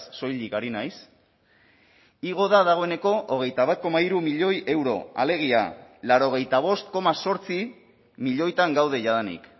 soilik ari naiz igo da dagoeneko hogeita bat koma hiru milioi euro alegia laurogeita bost koma zortzi milioitan gaude jadanik